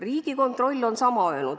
Riigikontroll on öelnud sama.